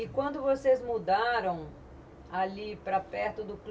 E quando vocês mudaram ali para perto do clu